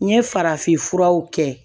N ye farafinfuraw kɛ